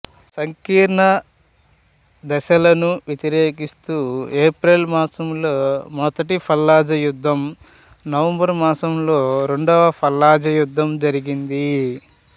సంకీర్ణ దళాలను వ్యతిరేకిస్తూ ఏప్రిల్ మాసంలో మొదటి ఫల్లుజా యుద్ధం నవంబరు మాసంలో రెండవ ఫల్లుజా యుద్ధం జరిగింది